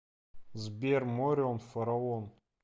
сбер морион фараон